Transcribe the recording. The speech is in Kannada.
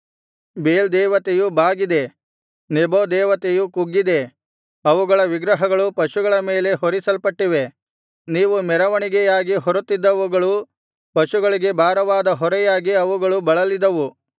ಬೇಲ್ ದೇವತೆಯು ಬಾಗಿದೆ ನೆಬೋ ದೇವತೆಯು ಕುಗ್ಗಿದೆ ಅವುಗಳ ವಿಗ್ರಹಗಳು ಪಶುಗಳ ಮೇಲೆ ಹೊರಿಸಲ್ಪಟ್ಟಿವೆ ನೀವು ಮೆರವಣಿಗೆಯಾಗಿ ಹೊರುತ್ತಿದ್ದವುಗಳು ಪಶುಗಳಿಗೆ ಭಾರವಾದ ಹೊರೆಯಾಗಿ ಅವುಗಳು ಬಳಲಿದವು